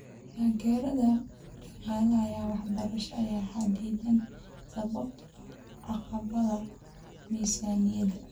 Taageerada dhaqaale ee waxbarashada ayaa xaddidan sababtoo ah caqabadaha miisaaniyada.